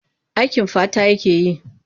Aikin fata yake yi.